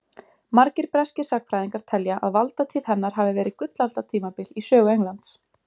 Margir breskir sagnfræðingar telja að valdatíð hennar hafi verið gullaldartímabil í sögu Englands.